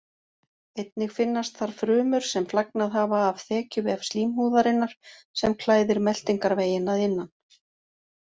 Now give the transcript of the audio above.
Einnig finnast þar frumur sem flagnað hafa af þekjuvef slímhúðarinnar sem klæðir meltingarveginn að innan.